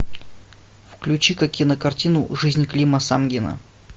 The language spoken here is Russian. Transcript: включи ка кинокартину жизнь клима самгина